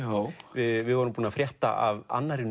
við vorum búin að frétta af annarri